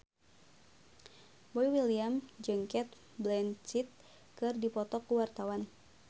Boy William jeung Cate Blanchett keur dipoto ku wartawan